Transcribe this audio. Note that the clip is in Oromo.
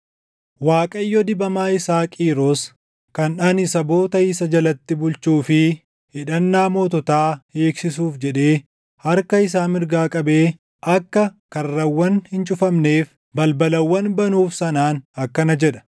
“ Waaqayyo dibamaa isaa Qiiros, kan ani saboota isa jalatti bulchuu fi hidhannaa moototaa hiiksisuuf jedhee harka isaa mirgaa qabee akka karrawwan hin cufamneef, balbalawwan banuuf sanaan akkana jedha: